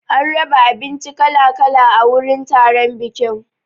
An raba abinci kala kala a wurin taron bikin.